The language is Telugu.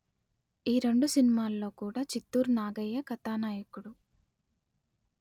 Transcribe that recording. ఈ రెండు సినిమాలలో కూడా చిత్తూరు నాగయ్య కథానాయకుడు